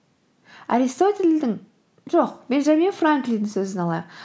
аристотельдің жоқ бенджамин франклиннің сөзін алайық